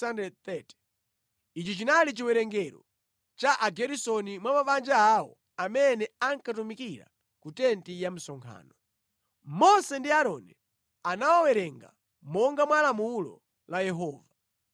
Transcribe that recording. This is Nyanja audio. Ichi chinali chiwerengero cha Ageresoni mwa mabanja awo amene ankatumikira ku tenti ya msonkhano. Mose ndi Aaroni anawawerenga monga mwa lamulo la Yehova.